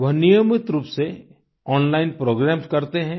वह नियमित रूप से ओनलाइन प्रोग्रामेस करते हैं